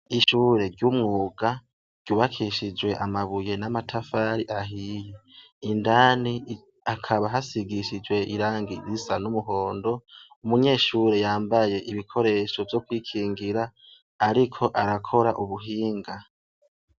Ishure ry'umwuga ryubakishijwe amabuye n'amatafari ahiye, indani akaba hasigishijwe irangi risa n'umuhondo, umunyeshure yambaye ibikoresho vyo kwikingira, ariko arakora ubuhinga.